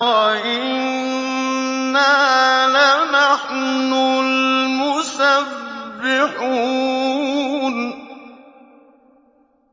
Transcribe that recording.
وَإِنَّا لَنَحْنُ الْمُسَبِّحُونَ